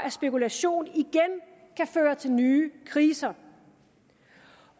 at spekulation igen kan føre til nye kriser